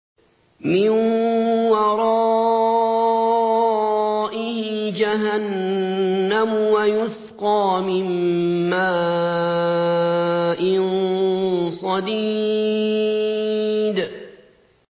مِّن وَرَائِهِ جَهَنَّمُ وَيُسْقَىٰ مِن مَّاءٍ صَدِيدٍ